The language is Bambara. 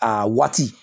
A waati